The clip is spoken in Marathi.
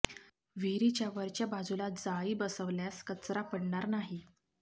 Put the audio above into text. विहिरीच्या वरच्या बाजूला जाळी बसवल्यास कचरा पडणार नाही